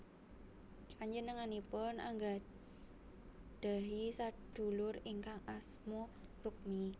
Panjenenganipun anggadhahi sadulur ingkang asma Rukmi